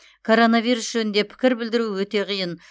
коронавирус жөнінде пікір білдіру өте қиын